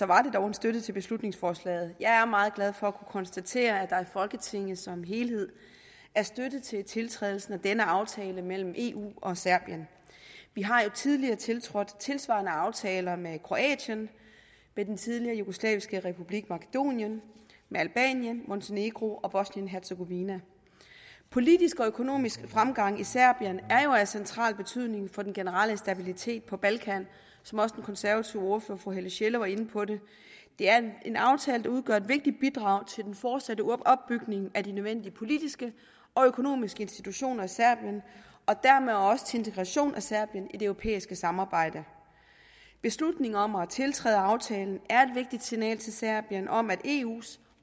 var dog en støtte til beslutningsforslaget jeg er meget glad for at kunne konstatere at der i folketinget som helhed er støtte til tiltrædelsen af denne aftale mellem eu og serbien vi har jo tidligere tiltrådt tilsvarende aftaler med kroatien med den tidligere jugoslaviske republik makedonien med albanien montenegro og bosnien hercegovina politisk og økonomisk fremgang i serbien er jo af central betydning for den generelle stabilitet på balkan som også den konservative ordfører fru helle sjelle var inde på det er en aftale der udgør et vigtigt bidrag til den fortsatte opbygning af de nødvendige politiske og økonomiske institutioner i serbien og dermed også til integration af serbien i det europæiske samarbejde beslutningen om at tiltræde aftalen er et vigtigt signal til serbien om at eus